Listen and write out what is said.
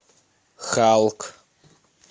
халк